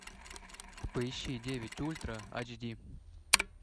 поищи девять ультра ач ди